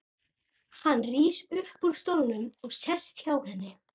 Hann rís upp úr stólnum og sest hjá henni.